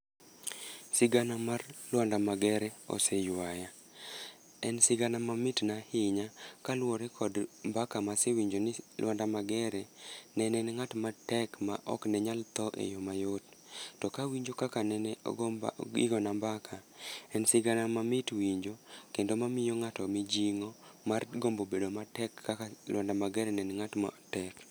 Sigana mag Lwanda Magere oseywaya. En sigana mamit na ahinya, kaluwore kod mbaka ma asewinjo ni Lwanda Magere ne en ngát matek, ma oknenyal tho e yo mayot. To ka winjo kaka nene ogo mbak, igona mbaka, en sigana mamit winjo, kendo miyo ngáto mijingó mar gombo bedo matek kaka Lwanda Magere ne en ngát matek.